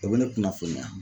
o bɛ ne kunnafoniya.